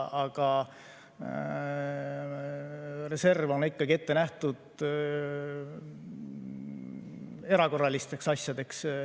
Aga reserv on ikkagi ette nähtud erakorralisteks asjadeks.